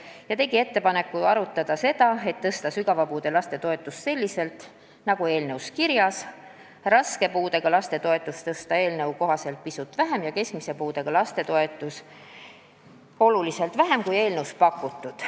Maris Lauri tegi ettepaneku arutada seda, et tõsta sügava puude laste toetust selliselt nagu eelnõu kirjas – raske puudega laste toetust tõsta pisut vähem ja keskmise puudega laste toetust oluliselt vähem, kui on eelnõus pakutud.